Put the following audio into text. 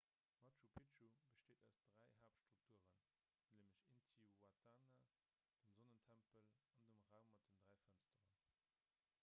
machu picchu besteet aus dräi haaptstrukturen nämlech intihuatana dem sonnentempel an dem raum mat den dräi fënsteren